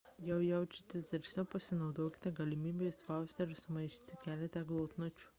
jei jaučiatės drąsiau pasinaudokite galimybe išspausti ar sumaišyti keletą glotnučių